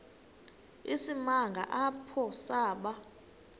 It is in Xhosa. isimanga apho saba